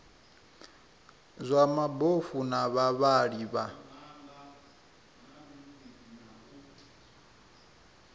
zwa mabofu na vhavhali vha